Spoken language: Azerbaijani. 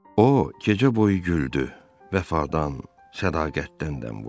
O, gecə boyu güldü, vəfadan, sədaqətdən dəm vurdu.